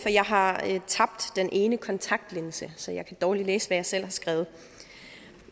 for jeg har tabt den ene kontaktlinse så jeg kan dårligt læse hvad jeg selv har skrevet